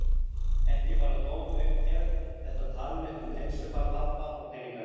Ekki bara tóm uppgerð, þetta tal mitt um heilsufar pabba og peningaleysi.